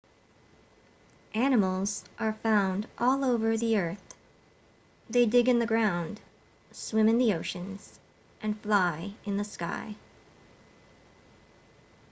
animals are found all over the earth they dig in the ground swim in the oceans and fly in the sky